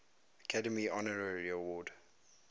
academy honorary award